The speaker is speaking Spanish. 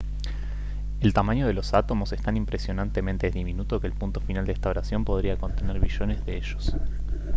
el tamaño de los átomos es tan impresionantemente diminuto que el punto final de esta oración podría contener billones de ellos